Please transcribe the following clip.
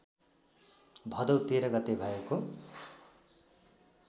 भदौ १३ गते भएको